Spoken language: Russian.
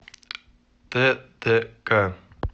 ттк